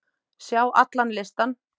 Sjá allan listan.